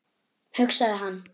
hugsaði hann.